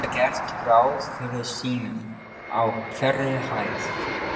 Þá þarf ég að fara að læra á bíl.